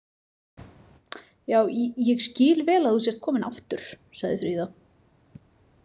Já, ég skil vel að þú sért komin aftur, sagði Fríða.